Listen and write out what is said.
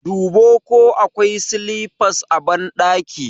Dubo ko akwai silifas a ɓandaki!